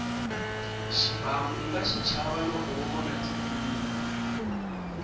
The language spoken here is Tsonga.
xibamu unga xichava loko wo vona tifilimi